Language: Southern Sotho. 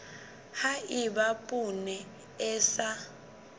ha eba poone e sa